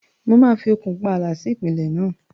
Mo máa fi okùn pààlà sí ìpìlẹ̀ náà.